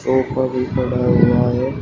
ऊपर भी पड़ा हुआ है।